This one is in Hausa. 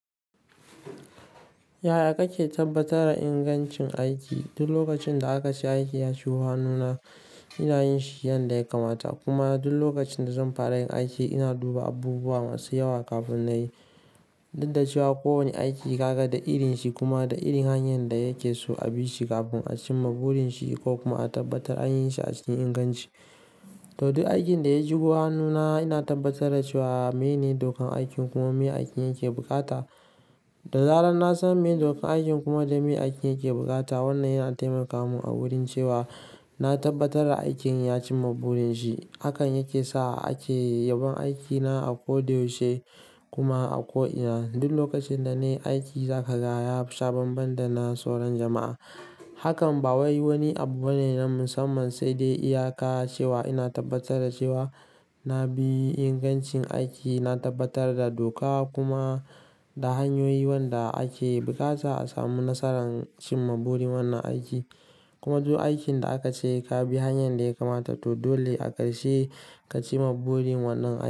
Yaya kake tabbatar da ingancin aiki? Duk lokacin da aka ce aiki ya ci wahana, ina yin shi yanda ya kamata. Kuma duk lokacin da zan fara yin aiki, ina duba abubuwa masu yawa kafin na yi. Duk da cewa kowane aiki ya gadda irin shi kuma da irin hanyar da yake so a bi shi kafin a cimma burin shi ko kuma a tabbatar an yi shi a cikin inganci. To, duk aikin da ya shigo hannuna ina tabbatar da cewa mene dokan aikin kuma me aikin yake bukata. Da zarar na san me dokan aikin kuma da me aikin yake bukata, wannan yana taimaka mun a wurin cewa na tabbatar aikin ya cimma burin shi. Hakan yake sa ake yabon aikina a ko da yaushe kuma a ko ina. Duk lokacin da ne aiki ya kaza, ya fi sabon banɗana sauran jama'a. Hakan ba wai wani abu bane na musamman, sai dai iyaka cewa ina tabbatar da cewa na bi ingancin aiki. Na tabbatar da doka kuma da hanyoyi wanda ake bukata a samu nasarar cimma burin wannan aiki. Kuma duk aikin da aka ce ka bi hanyar da ya kamata, to dole a karsh e ka ci burin wannan aiki.